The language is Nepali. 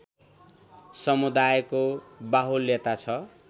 समुदायको बाहुल्यता छ